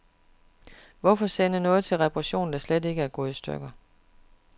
Hvorfor sende noget til reparation, der slet ikke er gået i stykker.